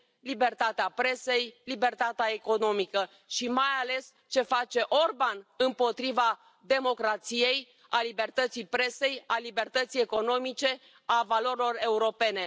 libertatea presei, libertatea economică și, mai ales, ce face Orban împotriva democrației, a libertății presei, a libertății economice, a valorilor europene.